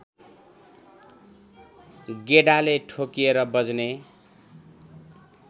गेडाले ठोकिएर बज्ने